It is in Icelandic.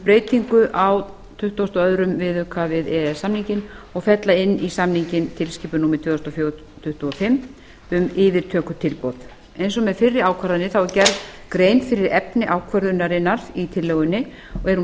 breytingu á tuttugustu og öðrum viðauka við e e s samninginn og fella inn í samninginn tilskipun númer tvö þúsund og fjögur tuttugu og fimm um yfirtökutilboð eins og með fyrri ákvarðanir er gerð grein fyrir efni ákvörðunarinnar í tillögunni og